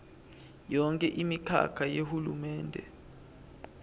yonkhe imikhakha yahulumende